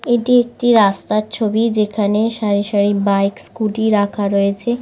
এটি একটি রাস্তার ছবি যেখানে সারিসারি বাইক স্কুটি রাখা রয়েছে।